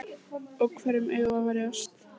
Og hverjum eigum við að verjast?